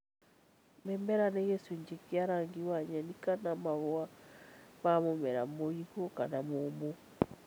Mĩmera - nĩ gĩcunjĩ kĩa rangi wa nyeni kana mahũa ma mũmera mũigũ kana mũmũ